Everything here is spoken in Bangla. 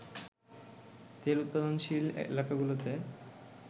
তেল উৎপাদনশীল এলাকাগুলোতে